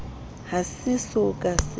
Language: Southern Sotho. ha se so ka se